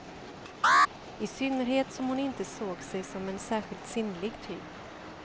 I synnerhet som hon inte såg sig som en särskilt sinnlig typ.